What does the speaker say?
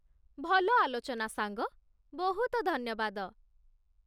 ଭଲ ଆଲୋଚନା, ସାଙ୍ଗ! ବହୁତ ଧନ୍ୟବାଦ!